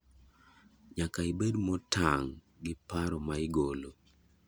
Nyaka ibed motang' gi paro ma igolo.